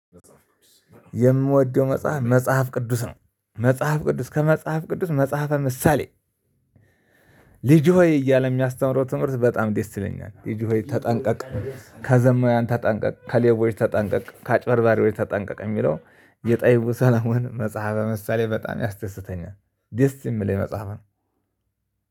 የምወደው መጽሐፍ መጽሐፍ ቅዱስ ነው። መጽሐፍ ቅዱስ ከመጽሐፍ ቅዱስ መጽሐፈ ምሳሌ ልጅ ሆይ እያለ የሚያስተምረው ትምህርት በጣም ደእስ ይለኛል። ልጅ ሆይ ተጠንቀቅ ከዘማውያን ተጠንቀቅ፤ ከሌቦች ተጠንቀቅ፤ ከአጭበርባሪዎች ተጠንቀቅ የሚለው የጠቢቡ ሰለሞን መጽሐፈ መሳሌ በጣም ያስተስተኛል። ደስ የሚል የመጽሐፍ ነው።